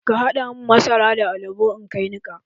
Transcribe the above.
Ka haɗa mun masara da alabo in kai niƙa.